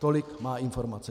Tolik má informace.